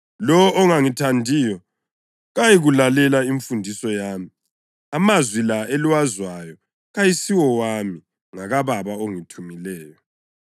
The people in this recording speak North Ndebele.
Lowo ongangithandiyo kayikulalela imfundiso yami. Amazwi la eliwezwayo kayisiwo wami, ngakaBaba ongithumileyo.